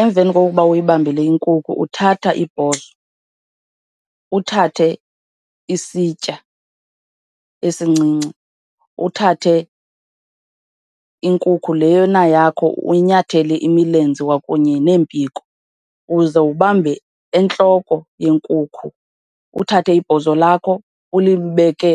Emveni kokuba uyibambile inkukhu uthatha ibhozo, uthathe isitya esincinci, uthathe inkukhu lena yakho uyinyathele imilenze kwakunye neempiko, uze ubambe entloko yenkukhu, uthathe ibhozo lakho ulibeke